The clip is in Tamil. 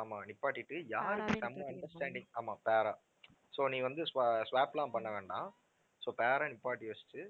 ஆமா நிப்பாட்டிட்டு யாரு செம்ம understanding ஆமா pair ஆ so நீ வந்து swa~ swap எல்லாம் பண்ண வேண்டாம் so pair ஆ நிப்பாட்டி வச்சுட்டு